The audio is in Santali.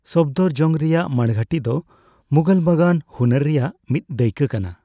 ᱥᱚᱯᱷᱫᱚᱨᱡᱚᱝᱜᱽ ᱨᱮᱭᱟᱜ ᱢᱟᱬᱜᱷᱟᱹᱴᱤ ᱫᱚ ᱢᱩᱜᱷᱚᱞ ᱵᱟᱜᱟᱱ ᱦᱩᱱᱟᱹᱨ ᱨᱮᱭᱟᱜ ᱢᱤᱫ ᱫᱟᱹᱭᱠᱟᱹ ᱠᱟᱱᱟ ᱾